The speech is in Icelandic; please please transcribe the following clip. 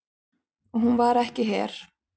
Og hún var ekki her.